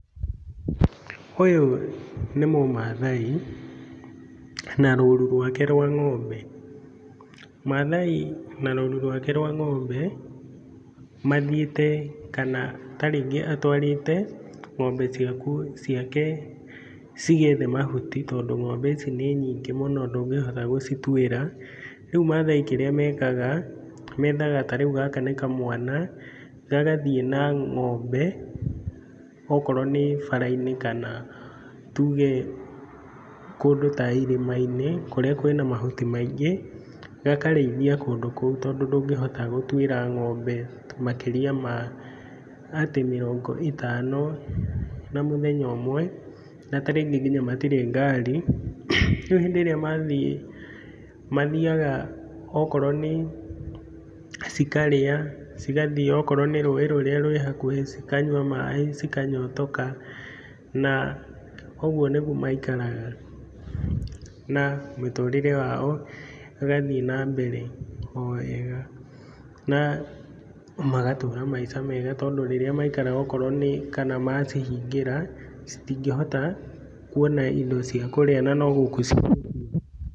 Ũyũ nĩ mũmathai, na roru rwake rwa ngombe. Mathai na rũru rwake rwa ng'ombe mathiĩte kana ta rĩngĩ atwarĩte ng'ombe ciake cigethe mahuti tondũ ng'ombe ici nĩ nyingĩ mũno ndũngĩhota gũcituĩra. Rĩu mathai kĩrĩa mekaga, methaga ta rĩu gaka nĩ kamwana, gagathiĩ na ng'ombe okorwo nĩ bara-inĩ kana tuge kũndũ ta irĩma-inĩ kũrĩa kwĩna mahuti maingĩ, gakarĩithia kũndũ kũu, tondũ ndũngĩhota gũtuĩra ng'ombe makĩria ma atĩ mĩrongo ĩtano, na mũthenya ũmwe, na ta rĩngĩ nginya matirĩ ngari, rĩu hĩndĩ ĩrĩa mathiĩ mathiaga okorwo nĩ cikarĩa, cigathiĩ okorwo nĩ rũĩ rũrĩa rwĩ hakuhĩ, cikanyua maĩ cikanyotoka, na ũguo nĩguo maikaraga na mĩtũrĩre yao ĩgathiĩ na mbere o wega, na magatũra maica mega, tondũ okorwo nĩ rĩrĩa maikara okorwo nĩ, kana macihingĩra, citingĩhota kuona indo cia kũrĩa na no gũkua cingĩkua.